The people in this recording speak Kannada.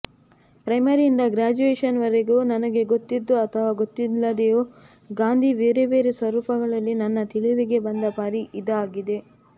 ಪ್ರೈಮರಿಯಿಂದ ಗ್ರ್ಯಾಜುಯೇಶನ್ವರೆಗೂ ನನಗೆ ಗೊತ್ತಿದ್ದೋ ಅಥವಾ ಗೊತ್ತಿಲ್ಲದೆಯೋ ಗಾಂಧಿ ಬೇರೆ ಬೇರೆ ಸ್ವರೂಪಗಳಲ್ಲಿ ನನ್ನ ತಿಳಿವಿಗೆ ಬಂದ ಪರಿ ಇದಾಗಿದೆ